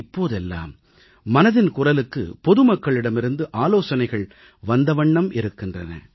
இப்போதெல்லாம் மனதின் குரலுக்கு பொதுமக்களிடமிருந்து ஆலோசனைகள் வந்தவண்ணம் இருக்கின்றன